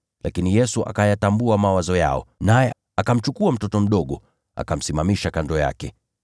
Lakini Yesu akayatambua mawazo yao, naye akamchukua mtoto mdogo, akamsimamisha kando yake.